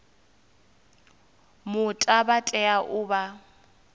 muta vha tea u vha